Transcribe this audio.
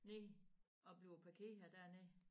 Ned og bliver parkeret dernede